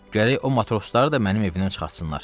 Gərək o matrosları da mənim evimdən çıxartsınlar.